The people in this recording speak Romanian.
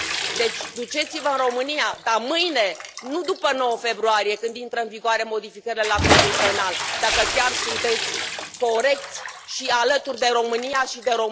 Deci, duceți vă în România, dar mâine, nu după 9 februarie când intră în vigoare modificările la Codul penal, dacă chiar sunteți corecți și alături de România și de